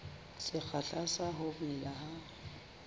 sekgahla sa ho mela ha